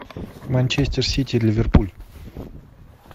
манчестер сити ливерпуль